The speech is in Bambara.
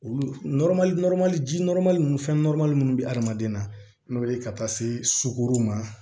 Olu ji ninnu fɛn minnu bɛ hadamaden na n'o ye ka taa se sugoro ma